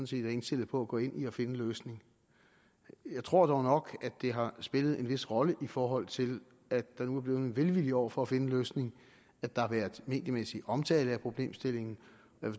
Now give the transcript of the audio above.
set er indstillet på at gå ind i at finde en løsning jeg tror dog nok at det har spillet en vis rolle i forhold til at der nu er blevet en velvilje over for at finde en løsning at der har været mediemæssig omtale af problemstillingen